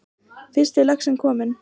Fyrsti laxinn kominn